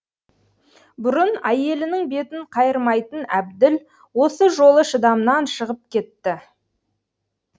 бұрын әйелінің бетін қайырмайтын әбділ осы жолы шыдамнан шығып кетті